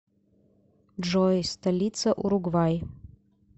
джой столица уругвай